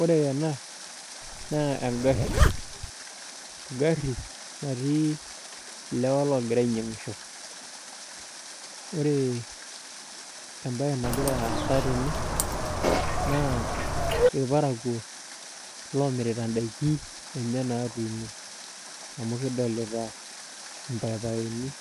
Ore ena naa engarri, engarri natii ilewa logira ainyiangisho. Ore embae nagira aasa tene naa irparakuo lomirita in'daiki enye natuuno. Amu kidolita irpaipaini,